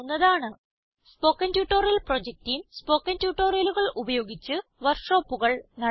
spoken tutorial project team spoken ട്യൂട്ടോറിയലുകൾ ഉപയോഗിച്ച് വർക്ക്ഷോപ്പുകൾ നടത്തുന്നു